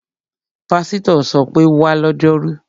Pásítọ̀ ṣọ pé, 'wá lọ́jọ́rú!'